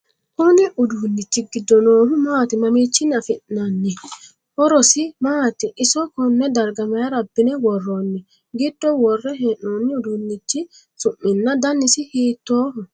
Kunni uduunichi gido noohu maati? Mamiichinni afi'nanni? Horosi maati? Iso konne darga mayira abine woroonni? Gido wore hee'noonni uduunichi su'minna dannisi hiittooho?